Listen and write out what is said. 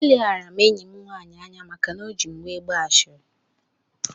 Eleghara m enyi m nwaanyị anya maka na o ji m were gbaa ashịrị